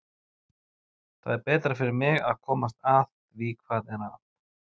Það er betra fyrir mig að komast að því hvað er að.